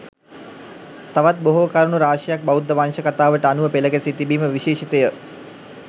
තවත් බොහෝ කරුණු රාශියක් බෞද්ධ වංශ කතාවට අනුව පෙළ ගැසී තිබීම විශේෂිතය.